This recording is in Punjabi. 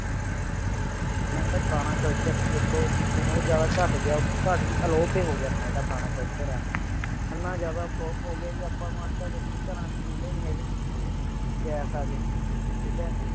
ਆਪਣਾ ਜਿਹੜਾ ਪੁਰਾਣਾ culture ਸੀ ਦੇਖੋ ਊ ਜ਼ਾਯਦਾ ਘਟ ਗਿਆ ਹੈ ਘਟ ਕੀ ਅਲੋਪ ਹੀ ਹੋ ਗਿਆ ਹੈ ਆਪਣਾ ਜੇਯਰਾ ਪੁਰਾਣਾ culture ਆ ਏਨਾ ਜਿਆਦਾ ਉਹ ਵੀ ਲੋਪ ਹੋ ਗਿਆ ਹੈ ਆਪਾਂ ਨੂੰ ਦੇਖੋ ਅੱਜ ਕੱਲ ਘਰਾਂ ਚੋਂ ਚੁੱਲੇ ਨਹੀਂ ਹੈਗੇ gas ਆ ਗਏ ਠੀਕ ਹੈ